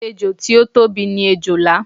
Ejò tí ó tóbi ni erè.